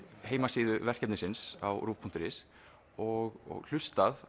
heimasíðu verkefnisins á ruv punktur is og hlustað